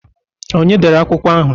Ọnye dere akwụkwọ ahụ?